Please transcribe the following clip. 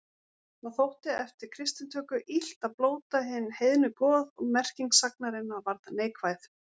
Það þótti eftir kristnitöku illt að blóta hin heiðnu goð og merking sagnarinnar varð neikvæð.